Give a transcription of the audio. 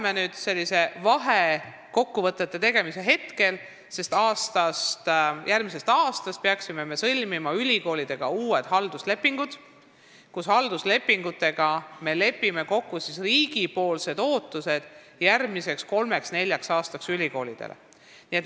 Me teeme praegu vahekokkuvõtteid, sest järgmisest aastast peaksime sõlmima ülikoolidega uued halduslepingud, kus me lepime kokku riigi ootused ülikoolidele järgmiseks kolmeks-neljaks aastaks.